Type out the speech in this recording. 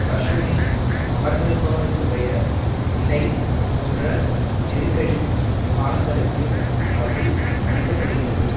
கஷோனில் அமர்ந்திருப்பவர்களுடைய நிலை போன்ற நெருக்கடி காலங்களுக்கு அது அளிக்க படுகிறது